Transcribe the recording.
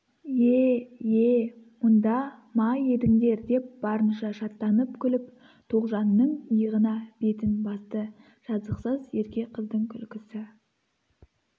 е-е мұнда ма едіңдер деп барынша шаттанып күліп тоғжанның иығына бетін басты жазықсыз ерке қыздың күлкісі